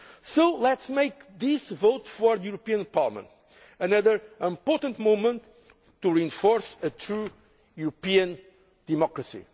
So let us make this vote for the European Parliament another important moment to reinforce a true European